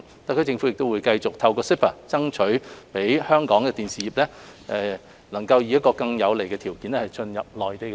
特區政府會繼續透過 CEPA， 爭取讓香港的電視業能以更有利的條件進入內地市場。